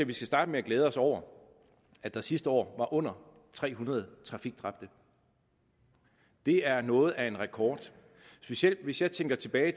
vi skal starte med at glæde os over at der sidste år var under tre hundrede trafikdræbte det er noget af en rekord specielt hvis jeg tænker tilbage